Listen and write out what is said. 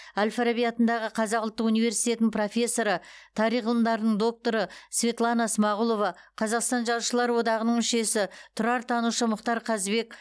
әл фараби атындағы қазақ ұлттық университетінің профессоры тарих ғылымдарының докторы светлана смағұлова қазақстан жазушылар одағының мүшесі тұрартанушы мұхтар қазыбек